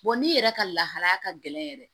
n'i yɛrɛ ka lahalaya ka gɛlɛn yɛrɛ